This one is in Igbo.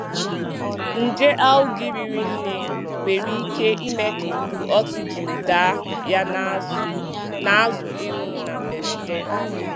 Nje Algae riri nne nwere ike ime ka ikuku oxygen daa ya na azụ na azụ ịnwụ na mberede.